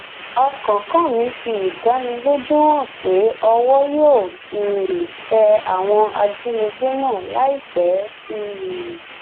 ọkánkánmí fi ìdánilójú hàn pé owó yóò um tẹ àwọn ajínigbé náà láìpẹ um